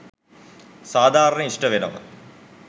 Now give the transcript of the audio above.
සාධාරණය ඉෂ්ට වෙනවා.